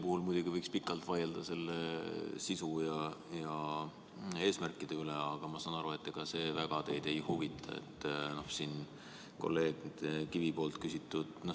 Võiks muidugi pikalt vaielda selle eelnõu sisu ja eesmärkide üle, aga ma saan aru, et ega teid väga ei huvita kolleeg Kivi küsitu.